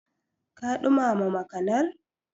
Ka ɗumama makanar?